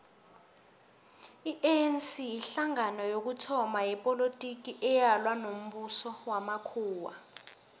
ianc yihlangano yokuthoma yepolotiki eyalwa nombuso wamakhuwa